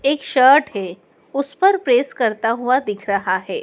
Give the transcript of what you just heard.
एक शर्ट है उस पर प्रेस करता हुआ दिख रहा है।